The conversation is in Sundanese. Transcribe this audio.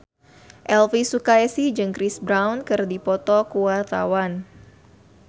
Elvy Sukaesih jeung Chris Brown keur dipoto ku wartawan